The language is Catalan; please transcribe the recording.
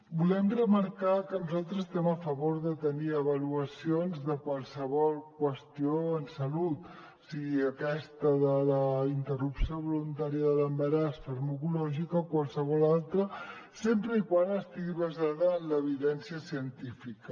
volem remarcar que nosaltres estem a favor de tenir avaluacions de qualsevol qüestió en salut sigui aquesta de la interrupció voluntària de l’embaràs farmacològica o qualsevol altra sempre que estigui basada en l’evidència científica